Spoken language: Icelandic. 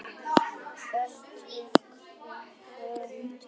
Átök um hugtök.